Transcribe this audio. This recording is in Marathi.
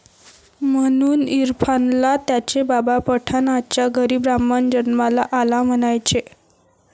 ...म्हणून इरफानला त्याचे बाबा, पठाणाच्या घरी ब्राह्मण जन्माला आला म्हणायचे